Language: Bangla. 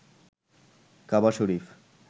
কাবা শরীফ